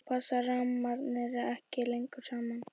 þá passa rammarnir ekki lengur saman